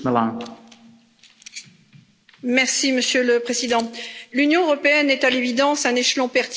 Monsieur le Président, l'Union européenne est à l'évidence un échelon pertinent de coopération en matière de santé publique.